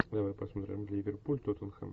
давай посмотрим ливерпуль тоттенхэм